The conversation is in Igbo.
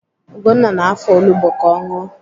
Ugonna na-afọ olugbo ka ọ ṅụọ